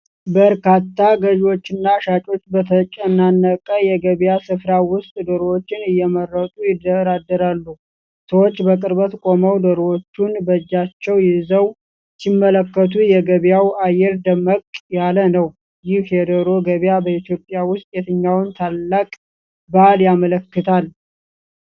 በርካታ ገዢዎችና ሻጮች በተጨናነቀ የገበያ ስፍራ ውስጥ ዶሮዎችን እየመረጡ ይደራደራሉ። ሰዎች በቅርበት ቆመው ዶሮዎችን በእጃቸው ይዘው ሲመለከቱ፣ የገበያው አየር ደመቅ ያለ ነው። ይህ የዶሮ ገበያ በኢትዮጵያ ውስጥ የትኛውን ታላቅ በዓል ያመለክታል?